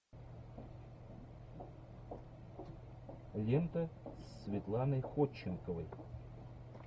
лента с светланой ходченковой